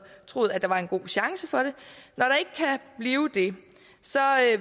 troet at der var en god chance for det så